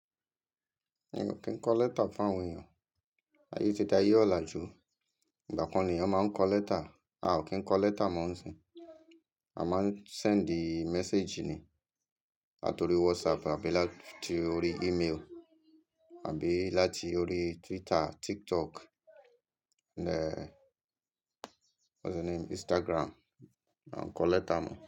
Mi ò kí ń kọ lẹ́tà fún àwọn èèyàn. Ayé ti di ayé ọ̀làjú. Ìgbà kan ni èèyàn máa ń kọ lẹ́tà, a ò kí ń kọ lẹ́tà mọ́ nísìnyí. A máa ń send message ni àti orí WhatsApp àbí láti orí email àbí láti orí Twitter, TikTok, what's the name, Instagram. A ò kọ lẹ́tà mọ́